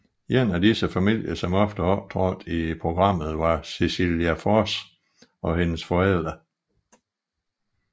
En af disse familier som ofte optrådte i programmet var Cecilia Forss og hendes forældre